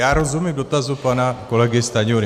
Já rozumím dotazu pana kolegy Stanjury.